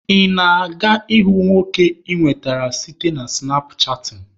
Ị na-aga ịhụ nwoke ị nwetara site na sụnapchaatịn?